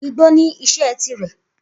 Igbó ní iṣẹ́ tirẹ̀.